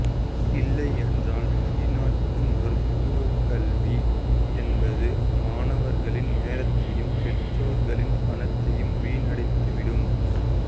இல்லையென்றால் வெளிநாட்டு மருத்துவக் கல்வி என்பது மாணவர்களின் நேரத்தையும் பெற்றோர்களின் பணத்தையும் வீணடித்துவிடும்